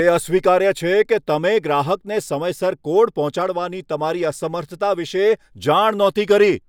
તે અસ્વીકાર્ય છે કે તમે ગ્રાહકને સમયસર કોડ પહોંચાડવાની તમારી અસમર્થતા વિષે જાણ નહોતી કરી.